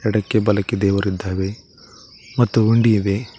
ಎಡಕ್ಕೆ ಬಲಕ್ಕೆ ದೇವರಿದ್ದಾವೇ ಮತ್ತು ಉಂಡಿ ಇವೆ.